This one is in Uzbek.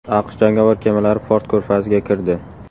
AQSh jangovar kemalari Fors ko‘rfaziga kirdi.